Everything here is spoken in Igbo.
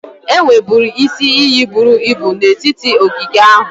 Enwerebu isi iyi buru ibu n'etiti ogige ahụ.